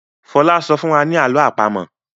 Fola sọfún wá ní àlọ́ àpamọ̀.